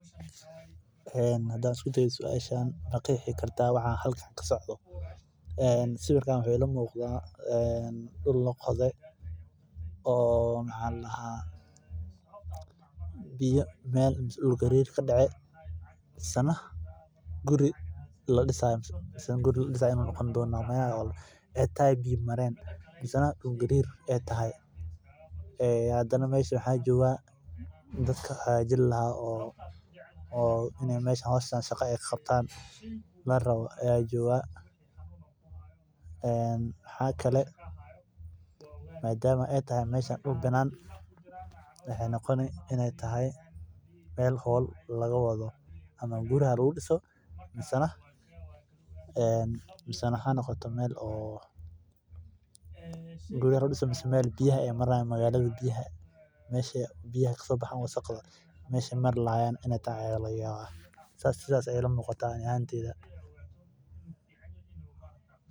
Hadaan isku dayo suashan ma qeexi kartaa waxa halkan kasocdo waxaa ii muuqda dul lagode mise meel dul gariir kadacay mise guri laga disi haayo mise biya mareen waxaa jooga dadki howsha qabani lahaa madama aay tahay meel banana waxaa laga yaaba inaay tahay meel guri laga disi haayo saas ayeey iila muuqata ani ahaan.